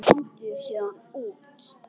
Komdu þér héðan út.